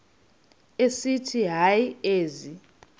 esithi hayi ezi